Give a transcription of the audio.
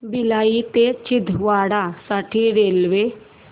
भिलाई ते छिंदवाडा साठी रेल्वे